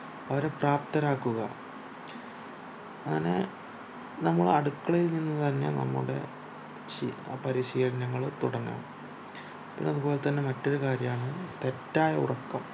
അവരെ പ്രാപ്തരാക്കുക അങ്ങനെ നമ്മൾ അടുക്കളയിൽ നിന്നുതന്നെ നമ്മുടെ സീല് പരിശീലനങ്ങള് തുടങ്ങാം പിന്നെ അതുപോലെതന്നെ മറ്റൊരു കാര്യാണ് തെറ്റായ ഉറക്കം